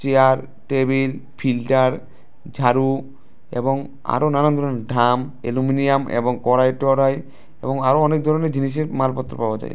Chair table filter ঝাড়ু এবং আরো নানান ধরনের ঢাম অ্যালুমিনিয়াম এবং করাই টরাই এবং অনেক ধরনের জিনিসের মালপত্র পাওয়া যায়।